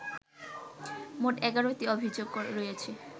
মোট ১১টি অভিযোগ রয়েছে